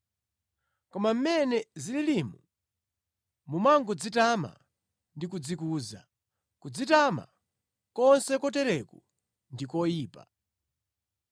Koma mmene zililimu mumangodzitama ndi kudzikuza. Kudzitama konse kotereku ndi koyipa.